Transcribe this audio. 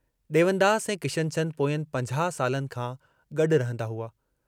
डेवनदास ऐं किशनचन्द पोयनि पंजाहु सालनि खां गड्डु रहंदा हुआ।